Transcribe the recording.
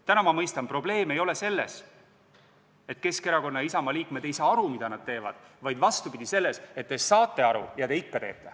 Täna ma mõistan, et probleem ei ole selles, et Keskerakonna ja Isamaa liikmed ei saa aru, mida nad teevad, vaid selles, et te saate aru ja te ikka teete.